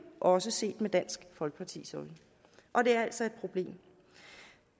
også set med dansk folkepartis øjne og det er altså et problem